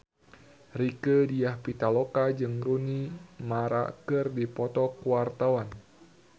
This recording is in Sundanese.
Rieke Diah Pitaloka jeung Rooney Mara keur dipoto ku wartawan